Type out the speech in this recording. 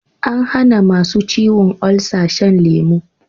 An hana masu ciwon olsa shan lemu